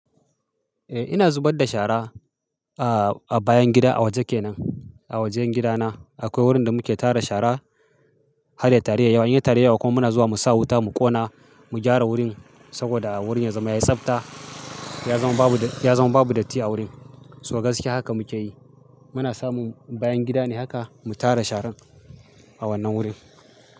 Eh ina zubar da shara a bayan gida a waje kenan. A wajen gida na akwai wurin da muke tara shara, har ya taru ya yi yawa, in ya taru ya yi yawa kuma muna zuwa mu sa wuta mu ƙona mu gyara wurin saboda wurin ya zama ya tsabta. Ya zama babu, ya zama babu datti a wurin. To ga gaskiya haka muke yi. Muna samun bayan gida ne haka mu tara sharan a wannan wurin.